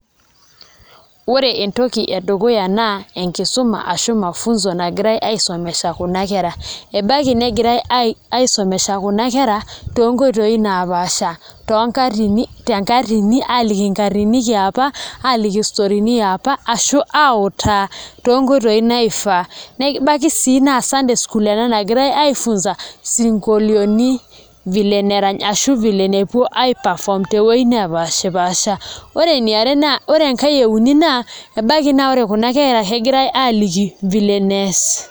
Ore entoki edukuya naa enkisuma ashu mafunzo nagirai aisomesha kuna kera, baiki negirai aisomesha kuna kera tonkoitoi naapaasha tenkatini aaliki enkatini e apa aaliki storini e apa ashu autaa toonkoitoi naifaa nebaiki sii naa Sunday school ena nagirai aifunza isinkolioiti vile nerany ashu vile nepuo duo aiperform toowuejitin naapaasha ore enkae e uni naa ebaiki naa ore kuna kera ebaiki negirai aaliki vile nees.